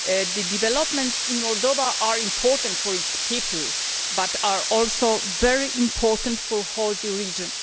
The developments in Moldova are important for its people but are also very important for the entire region.